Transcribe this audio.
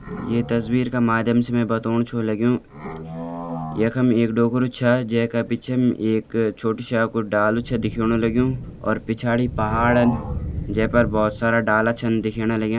ये तस्वीर का मध्यम से मैं बतौण छु लग्यूं यखम एक डोकरु छ जै क पिच्छम एक छोटु श्या कु डालु छ दिखेणु लग्यूं और पिछड़ी पहाड़न जै पर भौत सारा डाला छन दिखेणा लग्यां।